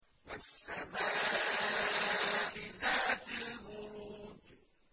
وَالسَّمَاءِ ذَاتِ الْبُرُوجِ